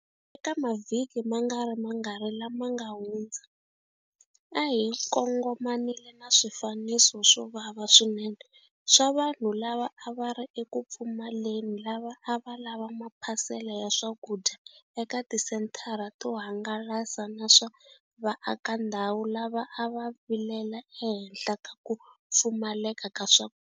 Eka mavhiki mangarimangani lama nga hundza, a hi kongomanile na swifaniso swo vava swinene swa vanhu lava a va ri eku pfumaleni lava a va lava maphasele ya swakudya eka tisenthara to hangalasa na swa vaakandhawu lava a va vilela ehenhla ka ku pfumaleka ka swa.